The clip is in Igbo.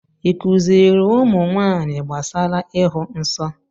ị kuziri ụmụnwaanyị gbasara ịhụ nsọ?